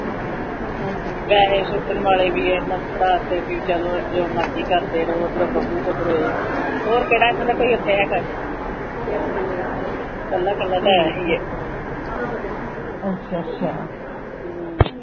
ਪਹੇ ਸੁੱਟਣ ਵਾਲੇ ਵੀ ਅੰਨਾ ਨੂੰ ਫੜਾ ਦੀਤੇ ਸੀ ਚਲੋ ਜੋ ਮਰਜੀ ਕਰਦੇ ਰਵੋ ਅਦਰੋ ਬੱਬੂ ਓਧਰੋਂ ਏ ਔਰ ਕਿਹੜਾ ਏਨਾ ਦਾ ਕੋਹੀ ਏੱਥੇ ਹੈਗਾ ਕਲਾ ਕਲਾ ਤੇ ਏਹੋ ਹੀ ਹੀ ਹੁ